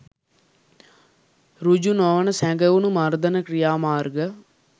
සෘජු නොවන සැඟවුණු මර්දන ක්‍රියාමාර්ග